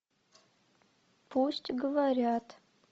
пусть говорят